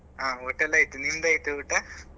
ಹ ಊಟಾಯೆಲ್ಲ ಆಯ್ತು ನಿಮ್ದು ಆಯ್ತಾ ಊಟ?